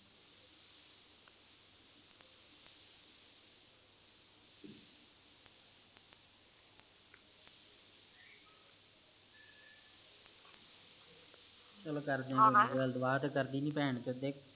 ਚਲੋ ਕਰਦੇ ਆ ਨੀ ਗੱਲ ਡੁਬਾਰਤੋ ਕਰਦੀ ਨੀ